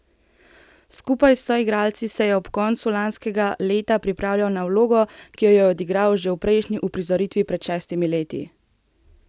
Skupaj s soigralci se je od konca lanskega leta pripravljal na vlogo, ki jo je odigral že v prejšnji uprizoritvi pred šestimi leti.